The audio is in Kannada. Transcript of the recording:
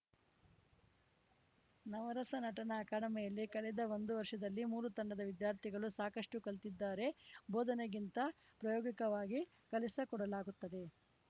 ನವರಸ ನಟನ ಅಕಾಡೆಮಿಯಲ್ಲಿ ಕಳೆದ ಒಂದು ವರ್ಷದಲ್ಲಿ ಮೂರು ತಂಡದ ವಿದ್ಯಾರ್ಥಿಗಳು ಸಾಕಷ್ಟುಕಲಿತಿದ್ದಾರೆ ಬೋಧನೆಗಿಂತ ಪ್ರಾಯೋಗಿಕವಾಗಿ ಕಲಿಸಕೊಡಲಾಗುತ್ತದೆ